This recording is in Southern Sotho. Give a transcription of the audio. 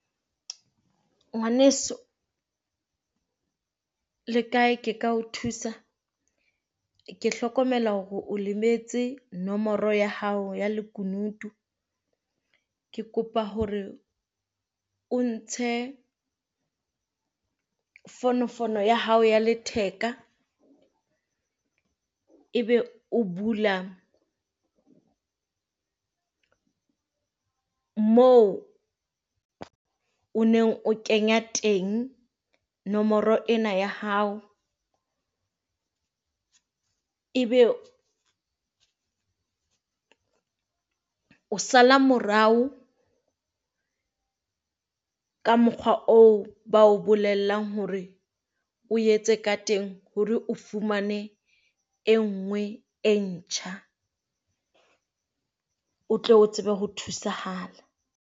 Ngwaneso le kae ke ka o thusa? Ke hlokomela hore o lemetse nomoro ya hao ya lekunutu ke kopa hore o ntshe fono fono ya hao ya letheka, ebe o bula moo neng o kenya teng nomoro ena ya hao. Ebe o sala morao ka mokgwa oo bao bolellang hore o etse ka teng hore o fumane e nngwe e ntjha o tlo o tsebe ho thusahala.